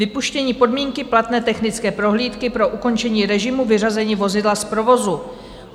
Vypuštění podmínky platné technické prohlídky pro ukončení režimu vyřazení vozidla z provozu.